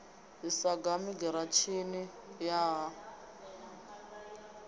ḓi sagani giratshini ya ha